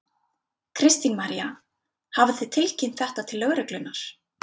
Kristín María: Hafið þið tilkynnt þetta til lögreglunnar?